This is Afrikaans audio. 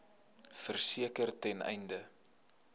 verseker ten einde